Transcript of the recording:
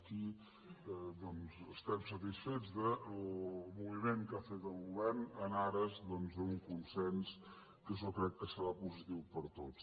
aquí doncs estem satisfets del moviment que ha fet el govern en ares d’un consens que jo crec que se· rà positiu per a tots